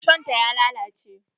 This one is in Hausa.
Rishon ta ya lalace.